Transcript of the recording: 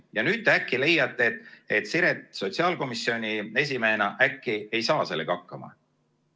Ja nüüd te äkki leiate, et Siret sotsiaalkomisjoni esimehena ei saa sellega hakkama.